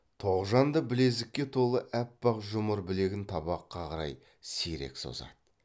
тоғжан да білезікке толы аппақ жұмыр білегін табаққа қарай сирек созады